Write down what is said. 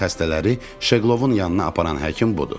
Bizim xəstələri Şeqlovun yanına aparan həkim budur.